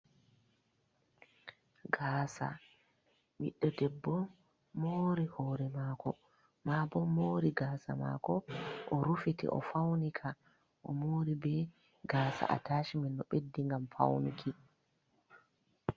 Gasa ɓiɗɗo debbo mori hore mako, mabon mori gasa mako, o rufite o faunika o mori be gaasa a tashimen no beddi gam fauni ki.